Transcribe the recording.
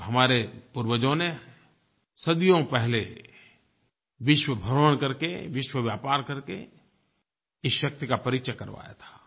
और हमारे पूर्वजों ने सदियों पहले विश्व भ्रमण करके विश्व व्यापार करके इस शक्ति का परिचय करवाया था